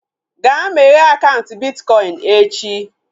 Ga meghee akaụntụ bitkọin echi!